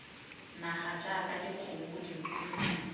naga jaaka dikgomo dinku dipodi